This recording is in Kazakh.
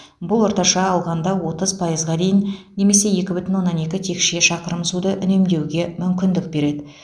бұл орташа алғанда отыз пайызға дейін немесе екі бүтін оннан екі текше шақырым суды үнемдеуге мүмкіндік береді